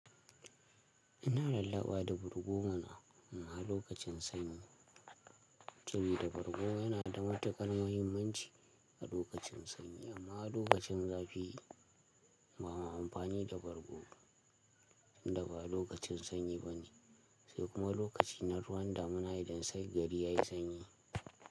Ina lallaba da bargo mana, amma lokacin sanyi. Sabida bargo yana da matuƙan muhimmanci a lokacin sanyi amma a lokacin zafi ba ma amfani da bargo tunda ba lokacin sanyi bane, sai kuma lokaci na ruwan damina idan sai gari ya yi sanyi.